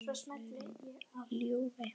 ylurinn ljúfi.